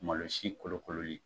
Malo sin kolokololi